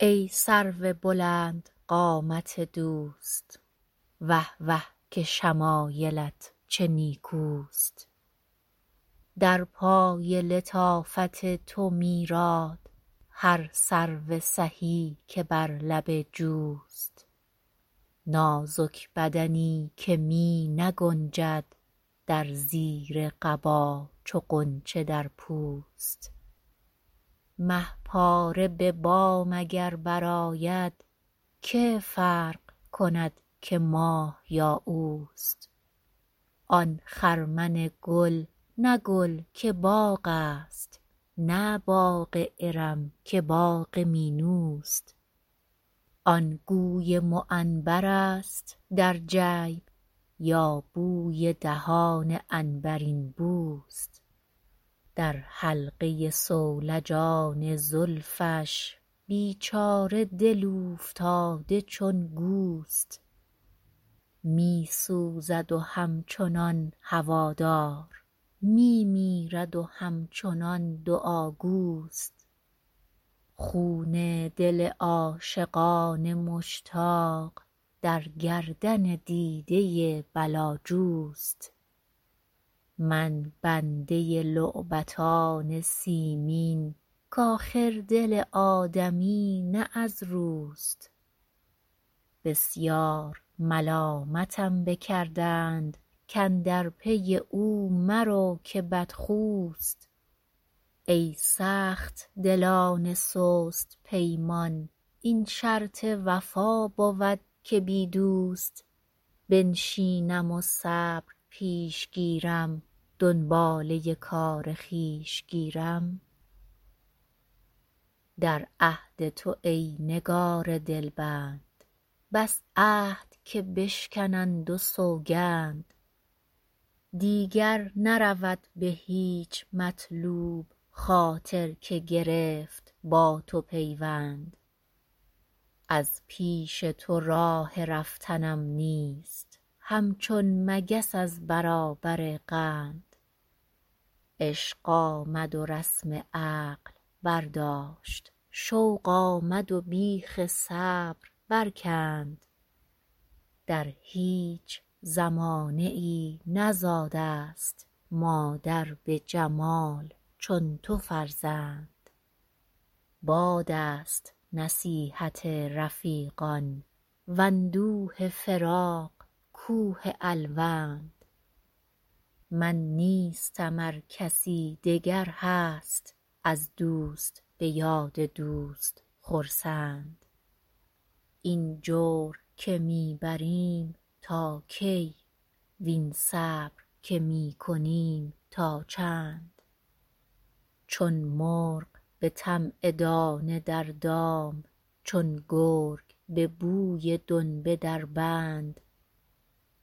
ای سرو بلند قامت دوست وه وه که شمایلت چه نیکوست در پای لطافت تو میراد هر سرو سهی که بر لب جوست نازک بدنی که می نگنجد در زیر قبا چو غنچه در پوست مه پاره به بام اگر برآید که فرق کند که ماه یا اوست آن خرمن گل نه گل که باغ است نه باغ ارم که باغ مینوست آن گوی معنبرست در جیب یا بوی دهان عنبرین بوست در حلقه صولجان زلفش بیچاره دل اوفتاده چون گوست می سوزد و همچنان هوادار می میرد و همچنان دعاگوست خون دل عاشقان مشتاق در گردن دیده بلاجوست من بنده لعبتان سیمین کآخر دل آدمی نه از روست بسیار ملامتم بکردند کاندر پی او مرو که بدخوست ای سخت دلان سست پیمان این شرط وفا بود که بی دوست بنشینم و صبر پیش گیرم دنباله کار خویش گیرم در عهد تو ای نگار دلبند بس عهد که بشکنند و سوگند دیگر نرود به هیچ مطلوب خاطر که گرفت با تو پیوند از پیش تو راه رفتنم نیست همچون مگس از برابر قند عشق آمد و رسم عقل برداشت شوق آمد و بیخ صبر برکند در هیچ زمانه ای نزاده ست مادر به جمال چون تو فرزند باد است نصیحت رفیقان واندوه فراق کوه الوند من نیستم ار کسی دگر هست از دوست به یاد دوست خرسند این جور که می بریم تا کی وین صبر که می کنیم تا چند چون مرغ به طمع دانه در دام چون گرگ به بوی دنبه در بند